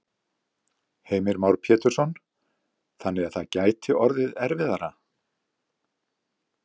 Heimir Már Pétursson: Þannig að það gæti orðið erfiðara?